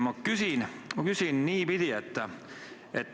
Ma küsin täna niipidi.